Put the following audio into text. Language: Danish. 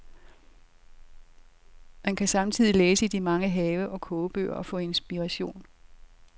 Man samtidig læse i de mange have- og kogebøger og få inspiration.